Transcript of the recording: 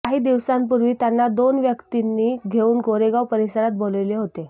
काही दिवसांपूर्वी त्यांना दोन व्यक्तींनी घेऊन गोरेगाव परिसरात बोलाविले होते